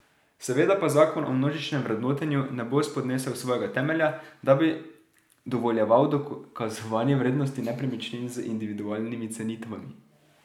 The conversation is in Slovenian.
Seveda pa zakon o množičnem vrednotenju ne bo spodnesel svojega temelja, da bi dovoljeval dokazovanje vrednosti nepremičnin z individualnimi cenitvami.